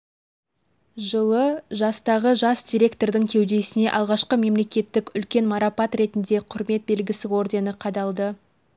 жылы жастағы жас директордың кеудесіне алғашқы мемлекеттік үлкен марапат ретінде құрмет белгісі ордені қадалды